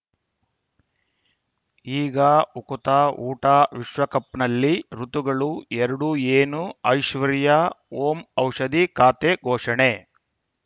ಈಗ ಉಕುತ ಊಟ ವಿಶ್ವಕಪ್‌ನಲ್ಲಿ ಋತುಗಳು ಎರಡು ಏನು ಐಶ್ವರ್ಯಾ ಓಂ ಔಷಧಿ ಖಾತೆ ಘೋಷಣೆ